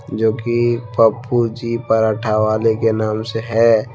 जो कि पप्पू जी पराठा वाले के नाम से है।